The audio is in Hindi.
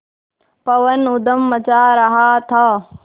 पवन ऊधम मचा रहा था